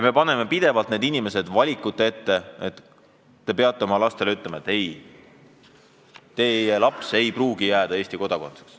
Me paneme need inimesed valiku ette, nad peavad oma lastele ütlema, et nad ei pruugi jääda Eesti kodanikeks.